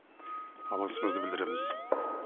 алғысымызды білдіреміз